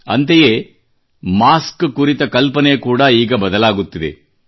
ಅಂತೆಯೇ ಮಾಸ್ಕ್ ಕುರಿತ ಕಲ್ಪನೆ ಕೂಡಾ ಈಗ ಬದಲಾಗುತ್ತದೆ